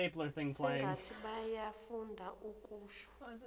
sengathi bayafunda okusho